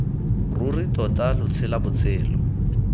ruri tota lo tshela botshelo